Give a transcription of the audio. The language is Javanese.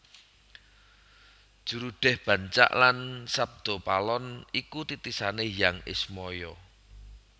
Jurudeh Bancak lan Sabdapalon iku titisane Hyang Ismaya